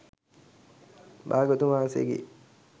භාග්‍යවතුන් වහන්සේගේ